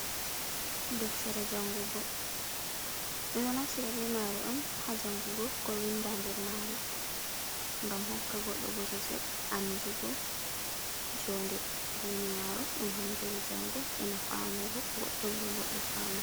Deftere jangugo, ɗo naftira be maare on Haa jangugo, ko winda nder maare, ngam hokka goɗɗo bosesel andugo joode duniyaru, ɗum hande e jango, ena famugo goɗɗum ɗum goɗɗo famai.